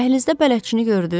Dəhlizdə bələdçini gördünüz?